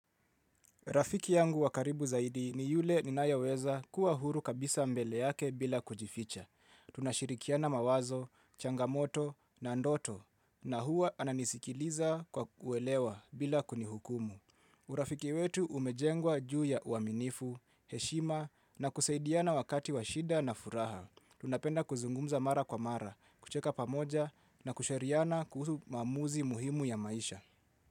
Rafiki yangu wakaribu zaidi ni yule ninayaweza kuwa huru kabisa mbele yake bila kujificha. Tunashirikiana mawazo, changamoto na ndoto na huwa ananisikiliza kwa uwelewa bila kunihukumu. Urafiki wetu umejengwa juu ya uaminifu, heshima na kusaidiana wakati washida na furaha. Tunapenda kuzungumza mara kwa mara, kucheka pamoja na kushariana kuhusu mamuzi muhimu ya maisha.